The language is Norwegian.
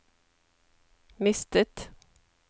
mistet